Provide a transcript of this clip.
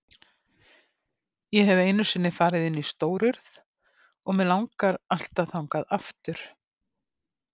Ég hef einu sinni farið inn í Stórurð og mig langar alltaf þangað aftur.